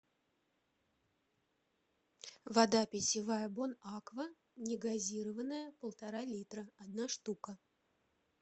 вода питьевая бонаква негазированная полтора литра одна штука